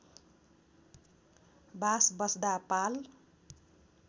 बास बस्दा पाल